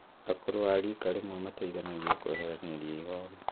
Akũrũ a rika rĩmwe mateithanagia kweheranĩria ihoru